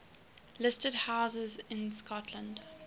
listed houses in scotland